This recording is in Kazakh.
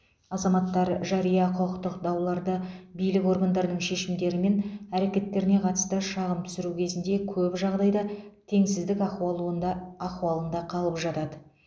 азаматтар жария құқықтық дауларда билік органдарының шешімдері мен әрекеттеріне қатысты шағым түсіру кезінде көп жағдайда теңсіздік ахуалуында ахуалында қалып жатады